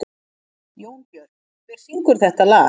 Jónbjört, hver syngur þetta lag?